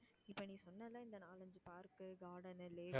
park க்கு garden உ lake உ